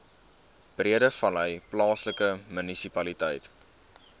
breedevallei plaaslike munisipaliteit